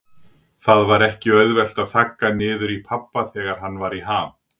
Það var ekki auðvelt að þagga niður í pabba þegar hann var í ham.